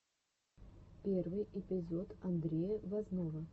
первый эпизод андрея возного